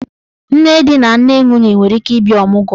Nne di na nne nwunye nwere ike ịbịa ọmụgwọ.